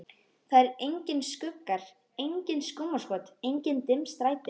Það eru engir skuggar, engin skúmaskot, engin dimm stræti.